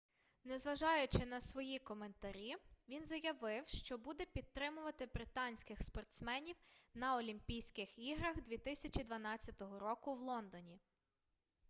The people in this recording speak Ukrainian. незважаючи на свої коментарі він заявив що буде підтримувати британських спортсменів на олімпійських іграх 2012 року в лондоні